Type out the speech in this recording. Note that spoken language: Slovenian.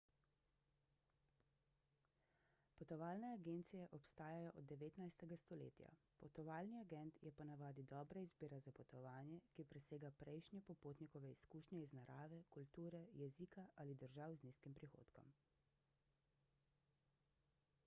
potovalne agencije obstajajo od 19 stoletja potovalni agent je po navadi dobra izbira za potovanje ki presega prejšnje popotnikove izkušnje iz narave kulture jezika ali držav z nizkim prihodkom